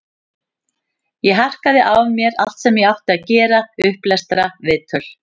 Ég harkaði af mér allt sem ég átti að gera, upplestra, viðtöl.